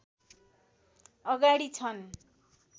अगाडि छन्